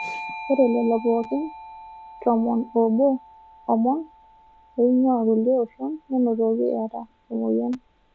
Ore lelo pookin tomon oobo omon oing'ua kulie oshon nenotoki eeta omoyian.